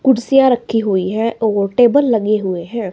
कुर्सियां रखी हुई है और टेबल लगे हुए हैं।